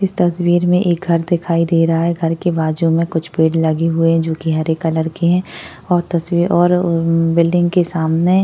इस तस्वीर में एक घर दिखाई दे रहा है घर के बाजु में कुछ पेड़ लगे हुए है जो की हरे कलर के है और तस्वी और अ बिल्डिंग के सामने --